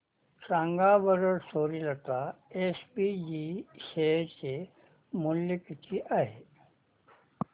सांगा बरं Suryalata SPG share चे मूल्य किती आहे